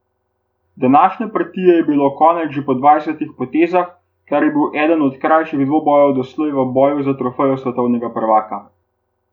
Današnje partije je bilo konec že po dvajsetih potezah, kar je bil eden krajših dvobojev doslej v boju za trofejo svetovnega prvaka.